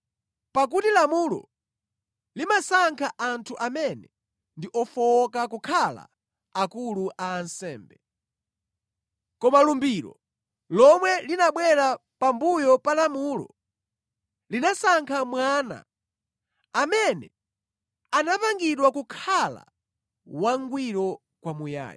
Pakuti lamulo limasankha anthu amene ndi ofowoka kukhala akulu a ansembe; koma lumbiro, lomwe linabwera pambuyo pa lamulo, linasankha Mwana, amene anapangidwa kukhala wangwiro kwamuyaya.